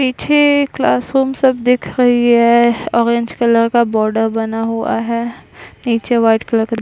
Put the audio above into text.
पीछे क्लासरूम सब दिख रही है ऑरेंज कलर का बॉर्डर बना हुआ है निचे वाइट कलर का --